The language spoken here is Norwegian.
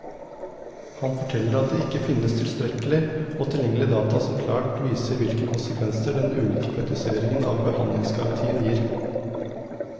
Han forteller at det ikke finnes tilstrekkelig og tilgjengelig data som klart viser hvilke konsekvenser den ulike praktiseringen av behandlingsgarantien gir.